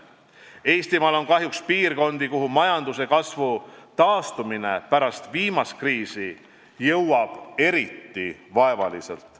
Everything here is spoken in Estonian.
Eestimaal on kahjuks piirkondi, kuhu majanduse kasvu taastumine pärast viimast kriisi jõuab eriti vaevaliselt.